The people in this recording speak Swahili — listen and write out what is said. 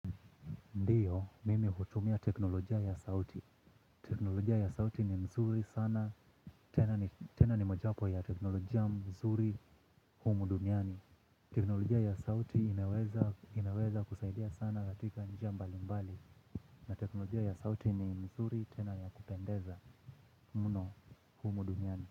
Ndiyo, mimi hutumia teknolojia ya sauti. Teknolojia ya sauti ni mzuri sana, tena ni moja wapo ya teknolojia mzuri humu duniani. Teknolojia ya sauti inaweza kusaidia sana katika njia mbali mbali. Na teknolojia ya sauti ni mzuri tena ya kupendeza mno humu duniani.